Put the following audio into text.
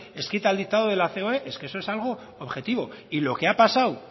escrita al dictado de la ceoe es que eso es algo objetivo y lo que ha pasado